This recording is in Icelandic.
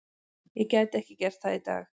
Ég gæti ekki gert það í dag.